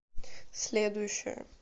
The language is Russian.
следующая